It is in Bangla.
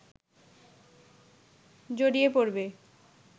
জড়িয়ে পড়বে